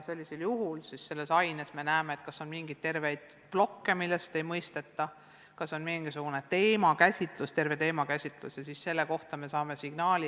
Sellisel juhul me näeme, kas mingis aines on terveid plokke, mida ei mõisteta, kas on mingisugune teemakäsitlus, millest ei saada aru, saame selle kohta signaali.